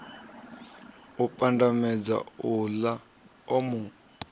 u pandamedza uḽa o mu